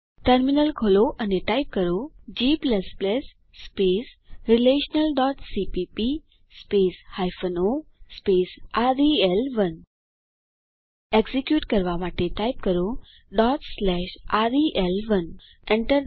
terminal ખોલો અને type કરો g relationalસીપીપી o રેલ1 એક્ઝીક્યુટ કરવા માટે ટાઇપ કરો રેલ1 પ્રેસ Enter